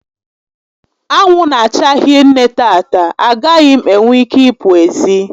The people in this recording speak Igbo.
Anwụ n'acha hinne tata, a gaghị m enwe ike i pụ ezi